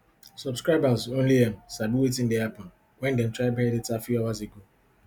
subscribers only um sabi wetin dey happun wen dem try buy data few hours ago